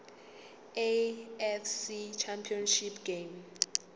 afc championship game